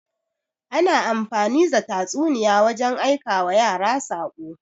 Ana amfani the tatsuniya wajen aikawa yara saƙo.